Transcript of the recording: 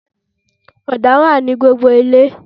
Ọ̀dà wà ní gbogbo ilẹ̀